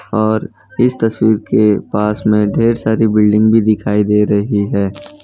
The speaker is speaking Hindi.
और इस तस्वीर के पास में ढेर सारी बिल्डिंग भी दिखाई दे रही है।